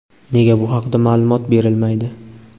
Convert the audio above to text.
Nega bu haqda ma’lumot berilmaydi.